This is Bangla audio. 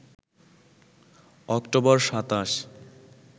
অক্টোবর ২৭